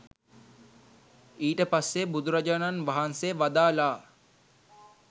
ඊට පස්සේ බුදුරජාණන් වහන්සේ වදාළා